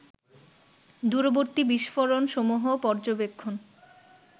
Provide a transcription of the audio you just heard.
দূরবর্তী বিস্ফোরণসমূহ পর্যবেক্ষণ